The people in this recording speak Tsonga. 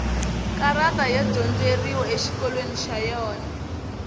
karati ya dyondzeriwa exikolweni xa yona